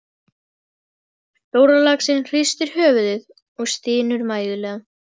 Stórlaxinn hristir höfuðið og stynur mæðulega.